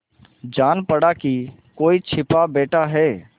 जान पड़ा कि कोई छिपा बैठा है